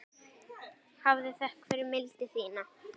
Hafðu þökk fyrir mildi þína.